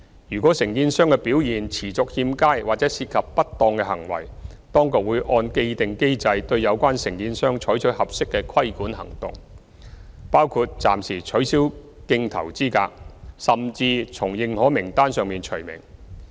如果承建商表現持續欠佳或涉及不當行為，當局會按既定機制對有關承建商採取合適的規管行動，包括暫時取消競投資格，甚至從認可名冊上除名。